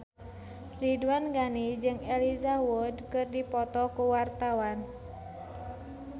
Ridwan Ghani jeung Elijah Wood keur dipoto ku wartawan